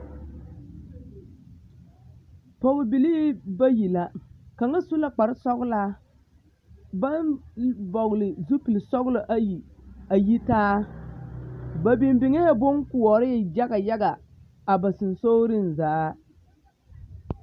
Pɔgebilii bayi la kaŋa su la kpare sɔgelaa baŋ vɔgele zupili sɔgelɔ ayi a yitaa ba biŋ biŋee boŋkoɔree yaga yaga a ba sonsogereŋ zaa.